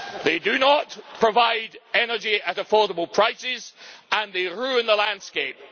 They do not provide energy at affordable prices and they ruin the landscape.